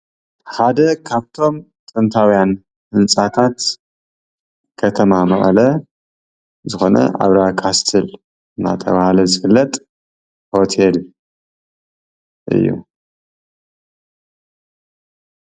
ሓደ ካብቶም ጥንታዊያን ህንፃታት ከተማ መቐለ ዝኾነ ኣብርሃ ካስትል እንዳተባሃለ ዝፍለጥ ሆቴል እዩ፡፡